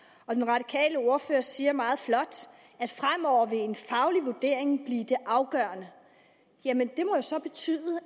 og den radikale ordfører siger meget flot at fremover vil en faglig vurdering blive det afgørende jamen det må jo så betyde